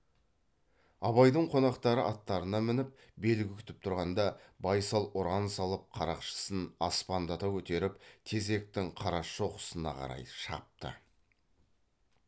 абайдың қонақтары аттарына мініп белгі күтіп тұрғанда байсал ұран салып қарақшысын аспандата көтеріп тезектің қарашоқысына қарай шапты